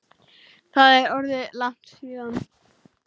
Það er orðið langt síðan.